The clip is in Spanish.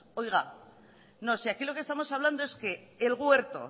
oiga no si aquí lo que estamos hablando es que el huerto